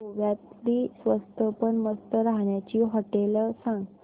गोव्यातली स्वस्त पण मस्त राहण्याची होटेलं सांग